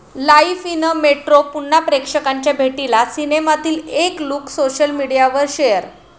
life in a metro' पुन्हा प्रेक्षकांच्या भेटीला, सिनेमातील एक लुक सोशल मीडियावर शेअर